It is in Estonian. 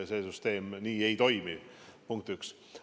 See süsteem nii ei toimi, punkt üks.